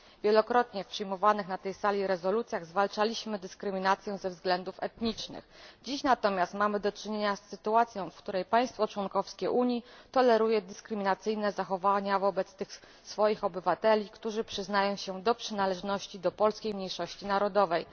W wielokrotnie przyjmowanych na tej sali rezolucjach zwalczaliśmy dyskryminację ze względów etnicznych, dziś natomiast mamy do czynienia z sytuacją, w której państwo członkowskie Unii toleruje dyskryminacyjne zachowania wobec tych swoich obywateli, którzy przyznają się do przynależności do polskiej mniejszości narodowej.